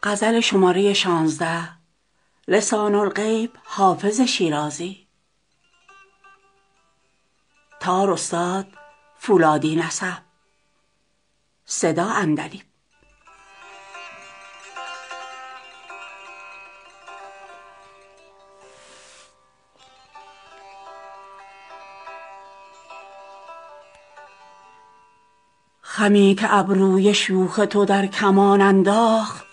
خمی که ابروی شوخ تو در کمان انداخت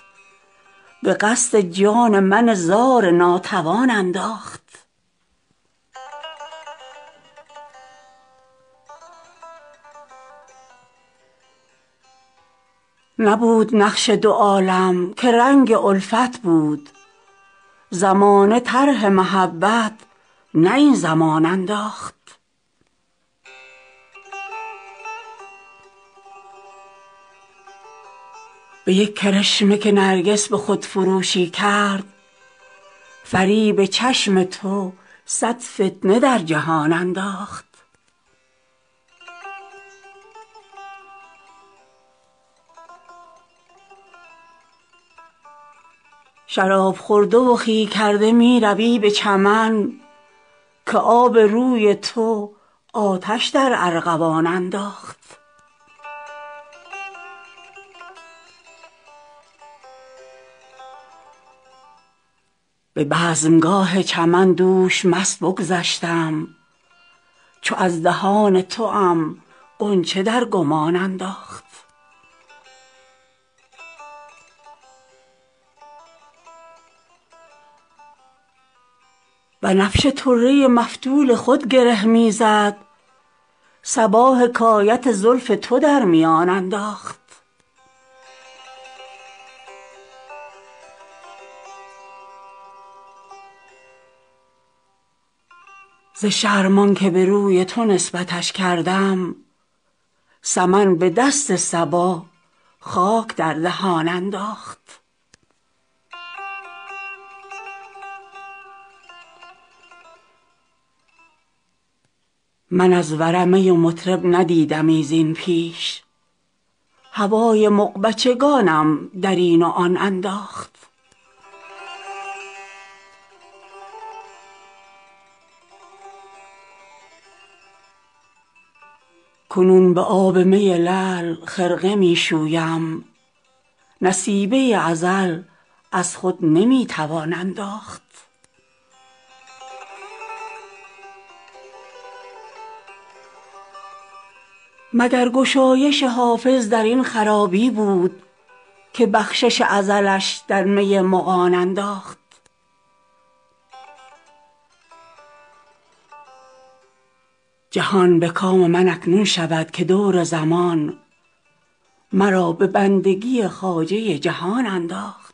به قصد جان من زار ناتوان انداخت نبود نقش دو عالم که رنگ الفت بود زمانه طرح محبت نه این زمان انداخت به یک کرشمه که نرگس به خودفروشی کرد فریب چشم تو صد فتنه در جهان انداخت شراب خورده و خوی کرده می روی به چمن که آب روی تو آتش در ارغوان انداخت به بزمگاه چمن دوش مست بگذشتم چو از دهان توام غنچه در گمان انداخت بنفشه طره مفتول خود گره می زد صبا حکایت زلف تو در میان انداخت ز شرم آن که به روی تو نسبتش کردم سمن به دست صبا خاک در دهان انداخت من از ورع می و مطرب ندیدمی زین پیش هوای مغبچگانم در این و آن انداخت کنون به آب می لعل خرقه می شویم نصیبه ازل از خود نمی توان انداخت مگر گشایش حافظ در این خرابی بود که بخشش ازلش در می مغان انداخت جهان به کام من اکنون شود که دور زمان مرا به بندگی خواجه جهان انداخت